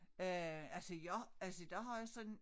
Øh altså jeg altså der har jeg sådan